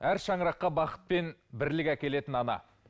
әр шаңыраққа бақыт пен бірлік әкелетін ана